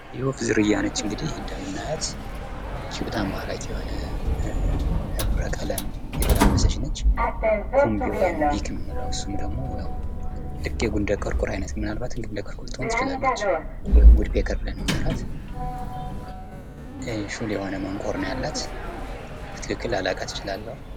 የወፍ ዝርያ ናት እንግዲህ እንደምናያት። ይች በጣም ማራኪ የሆነ ህብረ-ቀለም የተላበሰች ነች። ኩምቢ ወይም ቢት የምንለው ልክ ግንደ-ቆርቁር አይነትም ልትሆን ትችላላች። ሹል የሆነ መንቆር ነው ያላት። በትክክል ላላቃት እችላለሁ።